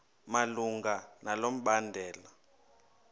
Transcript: malunga nalo mbandela